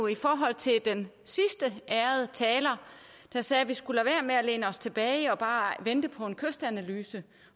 i forhold til den sidste ærede taler der sagde at vi skulle lade være med at læne os tilbage og bare vente på en kystanalyse